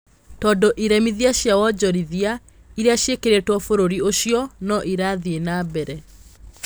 Tondũ iremithia cia wonjoria iria cĩĩkĩrĩirwo bũrũri ũcio no irathiĩ na mbere.